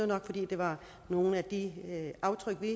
nok fordi det var nogle af de aftryk vi